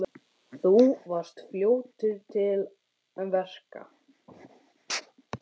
Þú varst fljótur til verka.